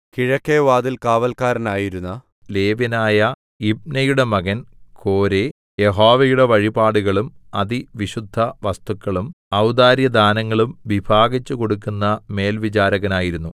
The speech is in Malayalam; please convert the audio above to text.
കിഴക്കെ വാതിൽകാവല്ക്കാരനായിരുന്ന ലേവ്യനായ യിമ്നയുടെ മകൻ കോരേ യഹോവയുടെ വഴിപാടുകളും അതിവിശുദ്ധവസ്തുക്കളും ഔദാര്യ ദാനങ്ങളും വിഭാഗിച്ചുകൊടുക്കുന്ന മേൽവിചാരകനായിരുന്നു